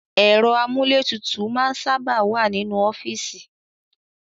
Ẹ̀rọ amúlétutù máa ń sábà wá nínú ọ́fíìsì